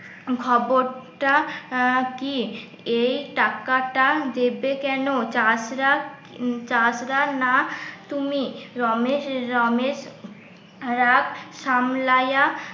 খবরটা আহ কি? এই টাকাটা দেবে কেন? চাষরা চাষরা না তুমি রমেশ রমেশ রাগ সামলাইয়া